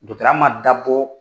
Dɔtɔrɔya man dabɔ